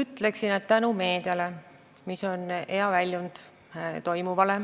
Ütleksin, et tänu meediale, mis on hea väljund toimuvale,